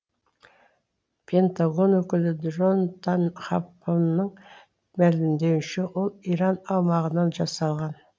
пентагон өкілі джонтан хоффманның мәлімдеуінше ол иран аумағынан жасалған